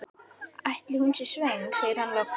Ætli hún sé svöng? segir hann loks.